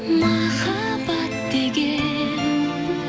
махаббат деген